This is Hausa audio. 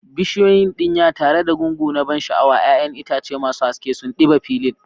Bishiyoyin dinya tare da gungu na ban sha'awa, 'ya'yan itace masu haske sun ɗiba filin.